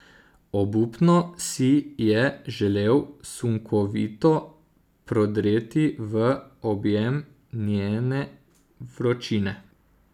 Obupno si je želel sunkovito prodreti v objem njene vročine.